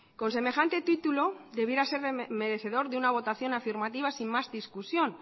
con semejante título debiera ser merecedor de una votación afirmativa sin más discusión